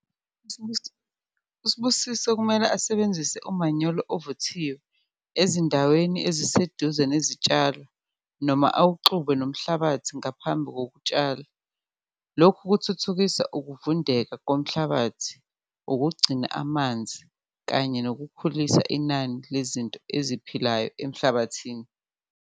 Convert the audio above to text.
USibusiso kumele asebenzise umanyolo ovuthiwe ezindaweni eziseduze nezitshalo noma awuxube nomhlabathi ngaphambi kokutshala, lokhu kuthuthukisa ukuvundeka komhlabathi, ukugcina amanzi kanye nokukhulisa inani lezinto eziphilayo emhlabathini.